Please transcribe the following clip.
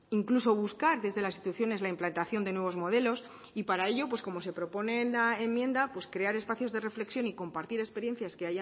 incluso buscar desde las instituciones la implantación de nuevos modelos y para ello pues como se propone en la enmienda pues crear espacios de reflexión y compartir experiencias que